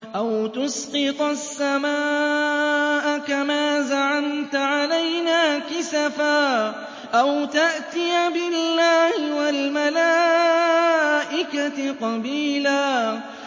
أَوْ تُسْقِطَ السَّمَاءَ كَمَا زَعَمْتَ عَلَيْنَا كِسَفًا أَوْ تَأْتِيَ بِاللَّهِ وَالْمَلَائِكَةِ قَبِيلًا